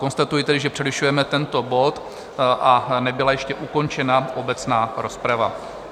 Konstatuji tedy, že přerušujeme tento bod, a nebyla ještě ukončena obecná rozprava.